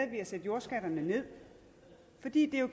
ved at sætte jordskatterne ned fordi det